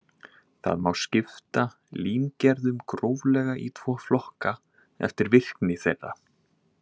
Það má skipta límgerðum gróflega í tvo flokka eftir virkni þeirra.